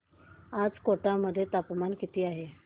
आज कोटा मध्ये तापमान किती आहे